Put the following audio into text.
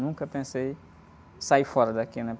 Nunca pensei em sair fora daqui, né?